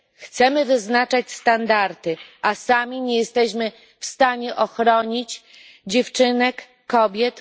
Chcemy wyznaczać standardy, a sami nie jesteśmy w stanie ochronić dziewczynek, kobiet?